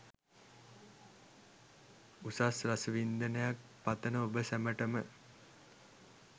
උසස් රස වින්දනයක් පතන ඔබ සැමටම